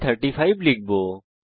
আমি 35 লিখব